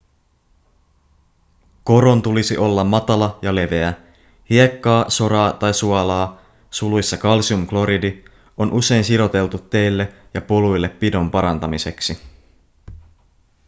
koron tulisi olla matala ja leveä. hiekkaa soraa tai suolaa kalsiumkloridi on usein siroteltu teille ja poluille pidon parantamiseksi